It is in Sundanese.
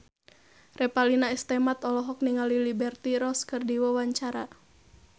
Revalina S. Temat olohok ningali Liberty Ross keur diwawancara